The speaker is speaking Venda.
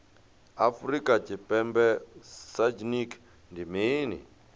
afrika tshipembe sagnc ndi mini